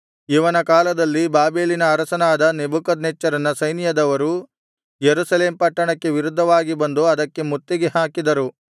ಇವನ ಕಾಲದಲ್ಲಿ ಬಾಬೆಲಿನ ಅರಸನಾದ ನೆಬೂಕದ್ನೆಚ್ಚರನ ಸೈನ್ಯದವರು ಯೆರೂಸಲೇಮ್ ಪಟ್ಟಣಕ್ಕೆ ವಿರುದ್ಧವಾಗಿ ಬಂದು ಅದಕ್ಕೆ ಮುತ್ತಿಗೆ ಹಾಕಿದರು